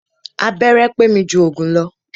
Abẹ́rẹ́ pé mi jù òògùn lọ.